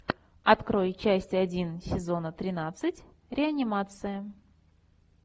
открой часть один сезона тринадцать реанимация